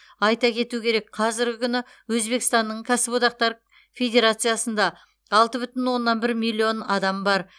айта кету керек қазіргі күні өзбекстанның кәсіподақтар федерациясында алты бүтін оннан бір миллион адам бар